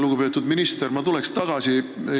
Lugupeetud minister!